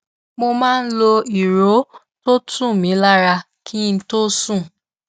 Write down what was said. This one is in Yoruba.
mo máa lo ìró tó tu mi lára kí n tó sùn